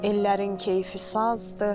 Ellərin keyfi sazdır.